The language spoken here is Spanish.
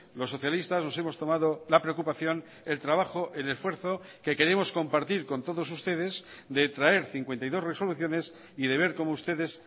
los socialistas nos hemos tomado la preocupación el trabajo el esfuerzo que queremos compartir con todos ustedes de traer cincuenta y dos resoluciones y de ver cómo ustedes